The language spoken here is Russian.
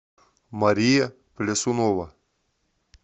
мария плясунова